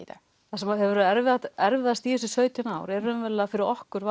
það sem hefur verið erfiðast erfiðast í þessi sautján ár er raunverulega fyrir okkur